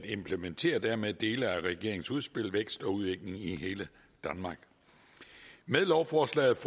implementerer dermed dele af regeringens udspil vækst og udvikling i hele danmark med lovforslaget